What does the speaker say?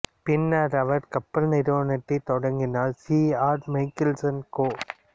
பின்னர் அவர் கப்பல் நிறுவனத்தைத் தொடங்கினார் சி ஆர் மைக்கேல்சன் கோ